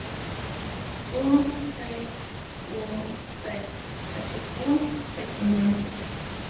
två sex två sex trettiotvå sexhundranittiotvå